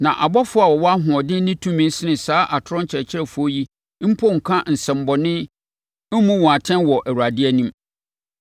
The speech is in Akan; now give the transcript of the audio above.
Na abɔfoɔ a wɔwɔ ahoɔden ne tumi sene saa atorɔ akyerɛkyerɛfoɔ yi mpo nka nsɛmmɔne mmu wɔn atɛn wɔ Awurade anim.